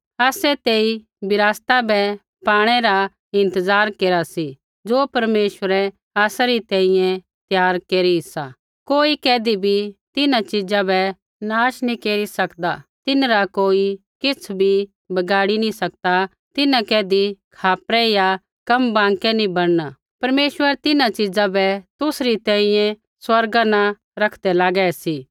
आसै तेई विरासता बै पाणै रा इंतज़ार केरा सी ज़ो परमेश्वरै आसा री तैंईंयैं त्यार केरी सा कोई कैधी भी तिन्हां च़ीजा बै नाश नैंई केरी सकदा तिन्हरा कोई किछ़ भी बिगाड़ी नैंई सकदा तिन्हां कैधी खापरै या कम बाँकै नैंई बणना परमेश्वर तिन्हां च़ीजा बै तुसरी तैंईंयैं स्वर्गा न रखदै लागै सी